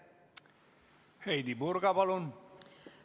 Heidy Purga, palun!